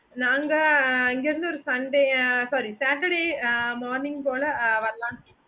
நாங்க இங்க இருந்து ஒரு Sunday sorry Saturday morning போல வரலாம்னு இருக்கோம்